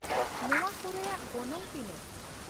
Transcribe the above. ᱱᱚᱶᱟ ᱠᱚᱨᱮᱭᱟᱜ ᱜᱚᱱᱚᱝ ᱛᱤᱱᱟᱹᱜ ?